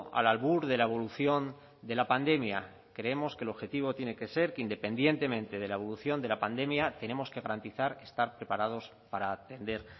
al albur de la evolución de la pandemia creemos que el objetivo tiene que ser que independientemente de la evolución de la pandemia tenemos que garantizar estar preparados para atender